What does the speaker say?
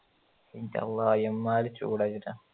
എൻറ്റള്ള എമ്മാതിരി ചൂടാന്ന് വെച്ചിട്ട